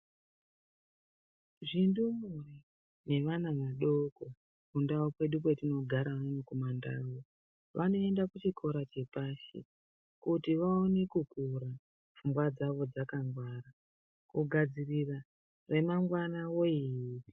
Zvindumure nevana vadoko kundau kwedu kwetinogara unono kumandau vanoenda kuchikora chepashi kuti vaone kukura pfungwa dzavo dzakangwara kugadzirira remangwana woye.